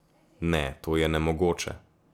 Ne, to je nemogoče.